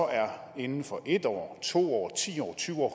inden for en år to år ti år tyve år